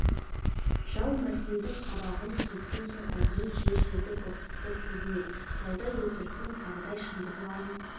жау мәскеудің қабағын сезген соң әдейі жер-жерді бықсытып жүр ме таудай өтіріктің тарыдай шындығы барын